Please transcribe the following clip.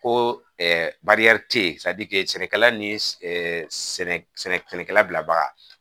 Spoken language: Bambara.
Ko tɛ ye sɛnɛkɛla ni sɛnɛkɛla bilabaga